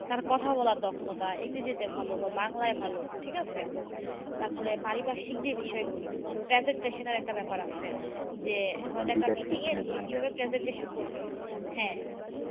তার কথা বলার দক্ষতা, ইংরেজিতে ভালো বা বাংলায় ভালো ঠিক আছে, তারপরে পারিপার্শিক যে বিষয়গুলো। presentation এর একটা ব্যাপার আছে। যে হয়তো একটা meeting এ গিয়ে কিভাবে presentation করবে হ্যাঁ